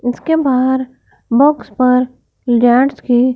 इसके बाहर बॉक्स पर लैंड्स की--